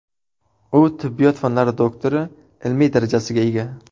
U tibbiyot fanlari doktori ilmiy darajasiga ega.